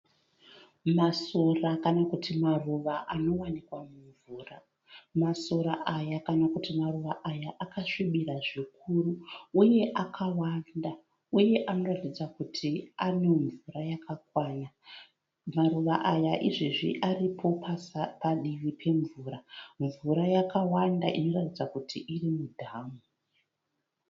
Masora kana kuti maruva anowanikwa mumvura. Masora aya kana kuti maruva aya akasvibira zvikuru. Uye akawanda, uye anoratidza kuti ane mvura yakakwana. Maruva aya izvezvi aripo padivi pemvura. Mvura yakawanda inoratidza kuti iri mudhamu.